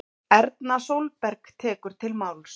Erna Sólberg tekur til máls